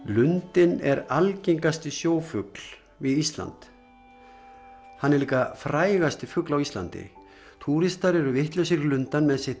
lundinn er algengasti sjófugl við Ísland hann er líka frægasti fugl á Íslandi túristar eru vitlausir í lundann með sitt